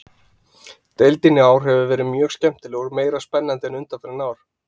Deildin í ár hefur verið mjög skemmtileg og meira spennandi en undanfarin ár.